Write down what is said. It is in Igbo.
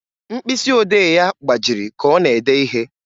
Mkpịsị odee ya gbajiri ka ọ na-ede ihe.